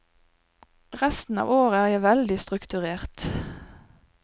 Resten av året er jeg veldig strukturert.